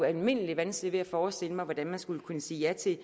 almindelighed vanskeligt ved at forestille mig hvordan man skulle kunne sige ja til